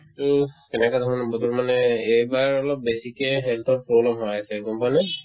to কেনেকা ধৰণৰ বতৰ মানে এই ~ এইবাৰ অলপ বেছিকে health ৰ problem হৈ আছে গম পোৱা নে ?